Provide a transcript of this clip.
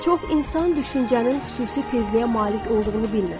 Çox insan düşüncənin xüsusi tezliyə malik olduğunu bilmir.